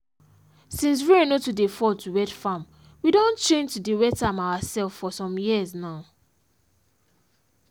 since rain no too dey fall to wet farm we don change to dey wet am our self for some years now